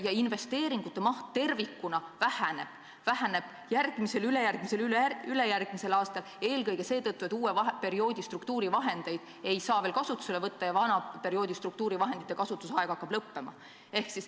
Ja investeeringute maht tervikuna väheneb – väheneb järgmisel, ülejärgmisel ja üleülejärgmisel aastal –, seda eelkõige selle tõttu, et uue perioodi struktuurivahendeid ei saa veel kasutusele võtta ja vana perioodi struktuurivahendite kasutamise aeg hakkab lõppema.